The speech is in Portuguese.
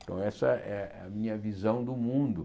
Então, essa é a minha visão do mundo.